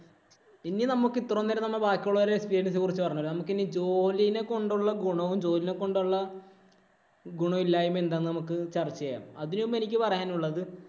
ഇനി നമുക്ക് ഇത്രനേരം ബാക്കിയൊള്ളോരുടെ experience ഇനെ കുറിച്ച് പറഞ്ഞു. നമുക്ക് ഇനി ജോലീനെ കൊണ്ടുള്ള ഗുണവും, ജോലീനെ കൊണ്ടുള്ള ഗുണമില്ലായ്മയും എന്താന്ന് നമ്മക്ക് ചര്‍ച്ച ചെയ്യാം. അതിനു മുമ്പ് എനിക്ക് പറയാനുള്ളത്